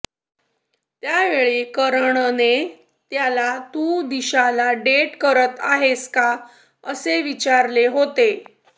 त्यावेळी करणने त्याला तू दिशाला डेट करत आहेस का असे विचारले होते